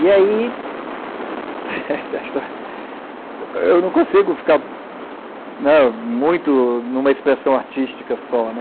E aí... Eu não consigo ficar muito, né numa expressão artística só.